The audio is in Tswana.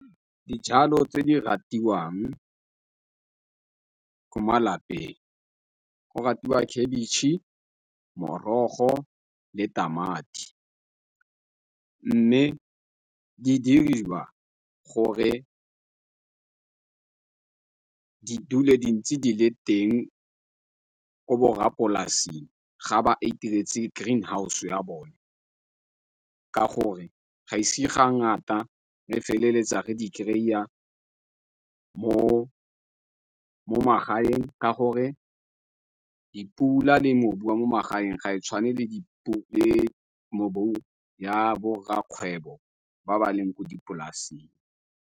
Dijalo tse di ratiwang ko malapeng go ratiwa khebitšhe, morogo le tamati. Mme di diriwa gore di dule di ntse di le teng ko borrapolasi ga ba itiretse green house ya bone ka gore ga ise ga ngata re feleletsa re di kry-a mo magaeng. Ka gore dipula le mobu mo magaeng ga e tshwane le di le mobu ya bo rra kgwebo ba ba leng ko dipolaseng.